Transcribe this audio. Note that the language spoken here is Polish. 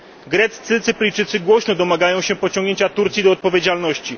Greccy Cypryjczycy głośno domagają się pociągnięcia Turcji do odpowiedzialności.